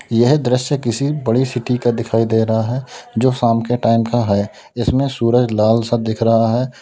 यह दृश्य किसी बड़ी सिटी का दिखाई दे रहा है जो शाम के टाइम का है इसमें सूरज लाल सा दिख रहा है।